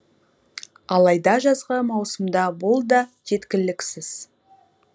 алайда жазғы маусымда бұл да жеткіліксіз